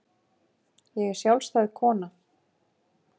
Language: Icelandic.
Ég er sjálfstæð kona.